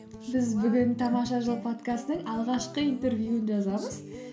біз бүгін тамаша жыл подкастының алғашқы интервьюін жазамыз